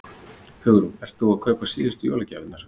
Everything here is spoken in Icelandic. Hugrún: Ert þú að kaupa síðustu jólagjafirnar?